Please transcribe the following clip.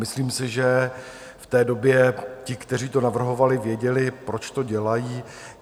Myslím si, že v té době ti, kteří to navrhovali, věděli, proč to dělají.